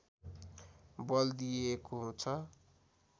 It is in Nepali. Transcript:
बल दिएको छ